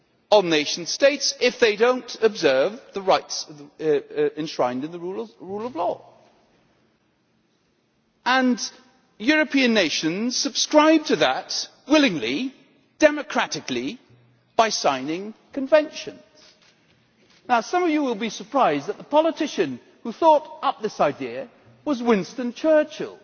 on nation states if they did not observe the rights enshrined in the rule of law and that European nations would subscribe to that principle willingly and democratically by signing conventions. Now some of you will be surprised that the politician who thought up this idea was Winston Churchill,